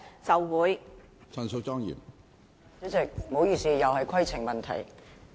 主席，不好意思，我又要提出規程問題了。